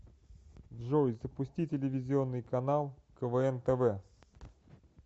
джой запусти телевизионный канал квн тв